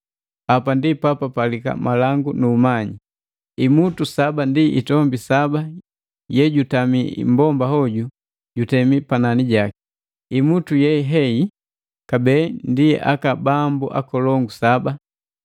“Hapa ndi papalika malangu nu kumanya! Imutu saba ndi itombi saba yejutami mmbomba hoju jutemi panani jaki. Imutu ye heyi kabee ndi aka bambu akolongu saba.